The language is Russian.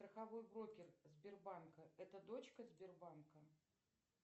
страховой брокер сбербанка это дочка сбербанка